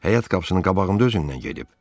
Həyat qapısının qabağında özündən gedib.